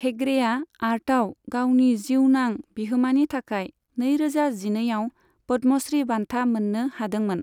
हेगड़ेआ आर्टआव गावनि जिउनां बिहोमानि थाखाय नैरोजा जिनैआव पद्मश्री बान्था मोननो हादोंमोन।